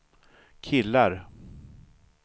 killar